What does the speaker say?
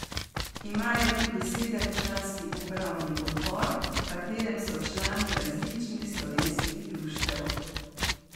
Imajo tudi sedemčlanski upravni odbor, v katerem so člani različnih slovenskih društev.